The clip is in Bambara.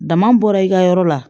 Dama bɔra i ka yɔrɔ la